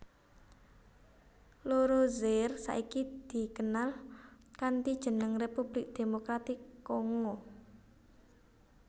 Loro Zaire saiki dikenal kanthi jeneng Republik Demokratik Kongo